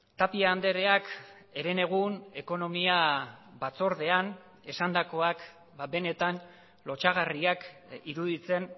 tapia andreak herenegun ekonomia batzordean esandakoak benetan lotsagarriak iruditzen